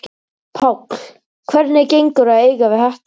Páll: Hvernig gengur að eiga við þetta?